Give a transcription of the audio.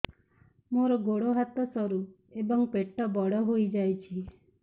ମୋର ଗୋଡ ହାତ ସରୁ ଏବଂ ପେଟ ବଡ଼ ହୋଇଯାଇଛି